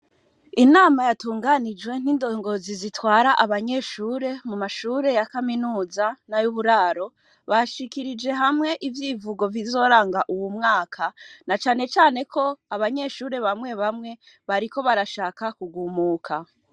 Inama yatunganijwe n'indongozi zitwara abanyeshure mu mashure ya Kaminuza n'ayuburaro , ashikirije hamwe ivyivugo bizoranga uwu mwaka na cane cane ko abanyeshure bamwe bamwe bariko barashaka kugumuka.